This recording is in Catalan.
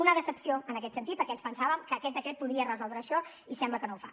una decepció en aquest sentit perquè ens pensàvem que aquest decret podria resoldre això i sembla que no ho fa